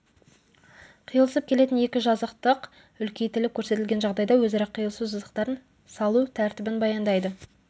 қиылысып келетін екі жазықтық үлкейтіліп көрсетілген жағдайда өзара қиылысу сызықтарын салу тәртібін баяндайды